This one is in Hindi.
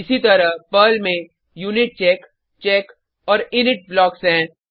इसीतरह पर्ल में यूनिचेक चेक और इनिट ब्लॉक्स हैं